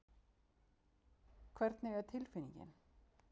Hvernig er tilfinningin?